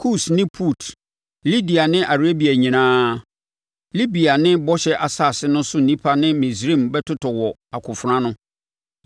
Kus ne Put, Lidia ne Arabia nyinaa, Libia ne bɔhyɛ asase no so nnipa ne Misraim bɛtotɔ wɔ akofena ano.